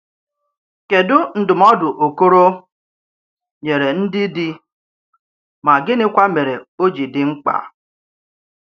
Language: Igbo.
Kédù ndụmọdụ Okoro nyèrè ndị dì, mà gị̀nị̀kwa mère ó jì dì mkpà?